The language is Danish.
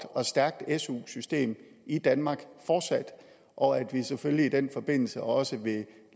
og stærke su system i danmark og at vi selvfølgelig i den forbindelse også vil